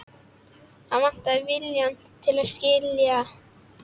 Hann vantar viljann til að skilja.